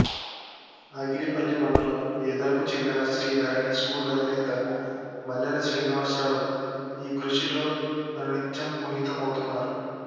ఆగిరిపల్లి మండలం ఈదరకు చెందిన శ్రీ ధరణి స్కూల్ అధినేత మల్లెల శ్రీనివాసరావు ఈ కృషిలో అనునిత్యం పునీతమవుతున్నారు